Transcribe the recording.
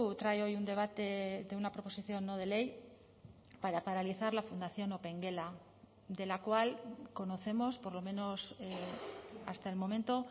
trae hoy un debate de una proposición no de ley para paralizar la fundación opengela de la cual conocemos por lo menos hasta el momento